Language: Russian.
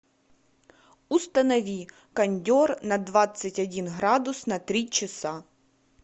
установи кондер на двадцать один градус на три часа